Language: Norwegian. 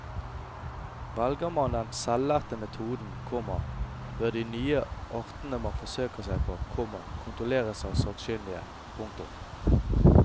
Velger man den selvlærte metoden, komma bør de nye artene man forsøker seg på, komma kontrolleres av sakkyndige. punktum